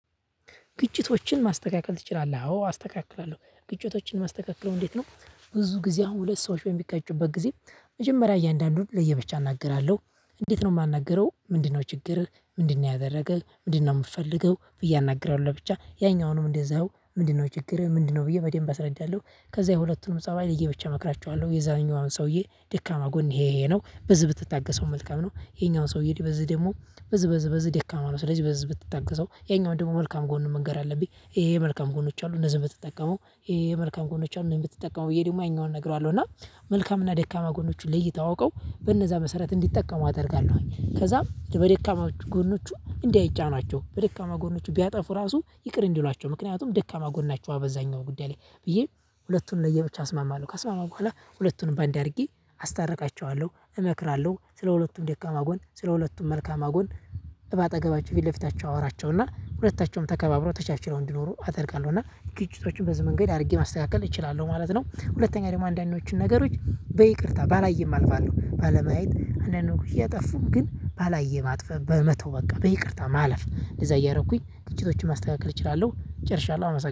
ግጭቶችን ማስተካከል ትችላለህ? አዎ አስተካክላለሁ ግጭቶችን ማስተካክለው እንዴት ነው? ብዙ ጊዜ አሁን ሁለት ሰዎች በሚጋጩበት ጊዜ። መጀመሪያ እያንዳንዱን ለየበቻ አናግራለሁ። እንዴት ነው የማናግረው? ምንድነው ችግርህ፣ ምንድነው ያደረገህ፣ ምንድነው የምትፈልገው ብዬ አናግራለሁ። ለብቻ ያኛውንም እንደዛው ምንድነው ችግር ምንድነው ብዬ በደንብ አስረዳለሁ። ከዛ የሁለቱንም ፀባይ ለየብቻ እመክራቸዋለሁ የዛኛዋን ሰውዬ ደካማ ጎን ይሄ ይሄ ነው ብዙ ብትታገሰው መልካም ነው። ይሄኛውን ሰውዬ በዚህ ደግሞ በዚህ በዚህ በዚህ ደካማ ነው። ስለዚህ በዚህ ብትታገሰው ያኛውን ደግሞ መልካም ጎን መንገር አለብኝ። ይሄ መልካም ጎኖች አሉ እነዚህ ብትጠቀመው ይሄ የመልካም ጎኖች አሉ። እኔን ብትጠቀመው ወይ ደግሞ ያኛውን እነግራለሁ። እና መልካም እና ደካማ ጎኖችን ለይተው አውቀው በነዛ መሰረት እንዲጠቀሙ አደርጋለሁኝ። ከዛም በደካማ ጎኖቹ እንዲያይጫኗቸው በደካማ ጎኖቹ ቢያጠፉ ራሱ ይቅር እንዲሏቸው ምክንያቱም ደካማ ጎን ናቸው። አበዛኛው ጉዳይ ላይ ብዬ ሁለቱን ለየብቻ አስማማለሁ። ከስማማው በኋላ ሁለቱንም ባንን አድርጌ አስታርቃቸዋለሁ፣ እመክራለሁ ስለሁለቱም ደካማ ጎን ስለሁለቱም መልካም አጎን በአጠገባቸው ፊት ለፊታቸው አወራቸውና ሁለታቸውም ተከባብረው ተቻችለው እንዲኖሩ አደርጋለሁ። እና ግጭቶችን በዚህ መንገድ አድርጌ ማስተካከል እችላለሁ ማለት ነው። ሁለተኛ ደግሞ አንዳንዶቹን ነገሮች በይቅርታ ባላየም አልፋለሁ። ባለማየት አንዳንድ ወጎች እየጠፉም ግን ባላየ ማጥፈ በመተው በቃ በይቅርታ ማለፍ እንደዛ እያደረኩኝ ግጭቶችን ማስተካከል እችላለሁ። ጨርሻለሁ አመሰግናለሁ።